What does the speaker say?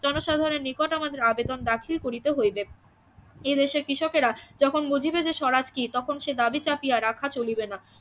জনসাধারনের নিকট আমাদের আবেদন দাখিল করিতে হইবে এদেশে কৃষকেরা যখন বুঝিবে যে স্বরাজ কি তখন সে দাবি চাপিয়া রাখা চলিবে না